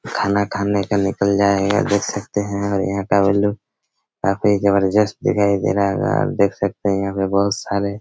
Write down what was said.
खाना खाने का निकल जाएया देख सकते है और यहाँ का लुक काफी जबरजस्त दिखाई दे रहा होगा आप देख सकते है यहाँ पे बहोत सारे--